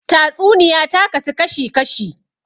Tatsuniya ta kasu kashi kashi